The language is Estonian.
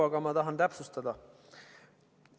Aga ma tahan täpsustada.